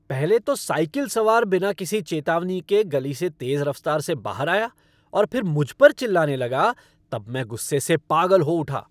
पहले तो साइकिल सवार बिना किसी चेतावनी के गली से तेज़ रफ़्तार से बाहर आया और फिर मुझ पर चिल्लाने लगा तब मैं गुस्से से पागल हो उठा।